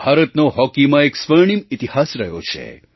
ભારતનો હૉકીમાં એક સ્વર્ણિમ ઇતિહાસ રહ્યો છે